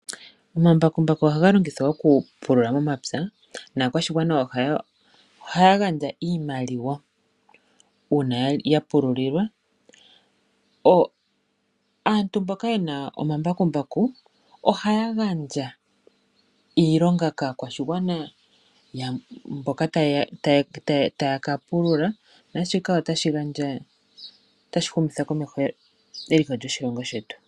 Omambakumbaku ohaga logithwa okupulula momapya, naakwashigwana ohaya gandja iimaliwa uuna ya pululilwa. Aantu mboka yena omambakumbaku, ohaya gandja iilonga kaakwashigwana mboka taya ka pulula, naashika otashi humitha komeho eliko lyoshilongo shetu.